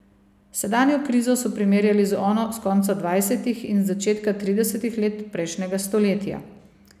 Sedanjo krizo so primerjali z ono s konca dvajsetih in z začetka tridesetih let prejšnjega stoletja.